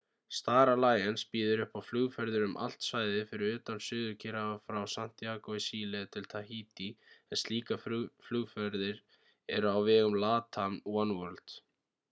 star alliance býður upp á flugferðir um allt svæðið fyrir utan suður-kyrrahaf frá santíagó í síle til tahítí en slíkar flugferðir eru á vegum latam oneworld